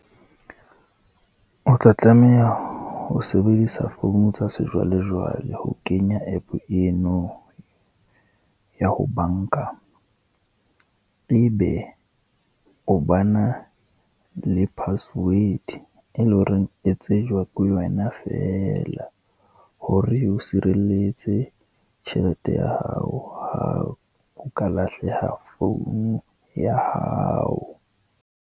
O tla tlameha ho sebedisa phone tsa sejwalejwale ho kenya app eno, ya ho banka. E be o bana le password, e le horeng e tsejwa ke wena fela, hore e o sirelletse tjhelete ya hao, ha o ka lahleha phone ya hao.